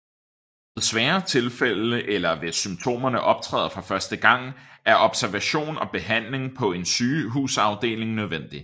Ved sværere tilfælde eller hvis symptomerne optræder for første gang er observation og behandling på en sygehusafdeling nødvendig